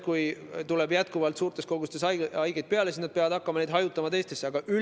Kui jätkuvalt tuleb suurtes kogustes haigeid peale, siis nad peavad hakkama neid hajutama teistesse haiglatesse.